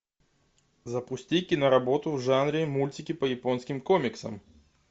запусти киноработу в жанре мультики по японским комиксам